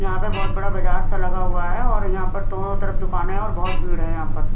यहां पे बहुत बड़ा बाजार सा लगा हुआ है और यहां पर दोनों तरफ दुकानें हैं और बहुत भीड़ है यहां पर--